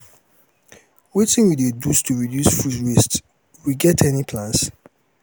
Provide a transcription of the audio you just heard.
wetin we dey do to reduce food waste we get any plans?